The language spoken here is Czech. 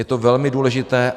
Je to velmi důležité.